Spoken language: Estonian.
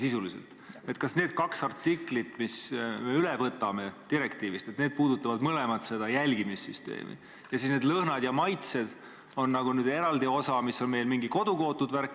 Kas need kaks direktiivi artiklit, mis me nüüd üle võtame, puudutavad mõlemad seda jälgimissüsteemi, ja need lõhnad ja maitsed on nagu eraldi osa, mis on meil mingi kodukootud värk?